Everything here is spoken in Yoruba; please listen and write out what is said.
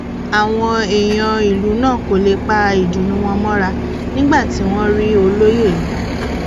àwọn èèyàn ìlú náà kò lè pa ìdùnnú wọn mọra nígbà tí wọn rí olóye yìí